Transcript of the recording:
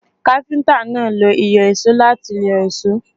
Káfíntà náà lo ìyọ̀só láti yọ èsó.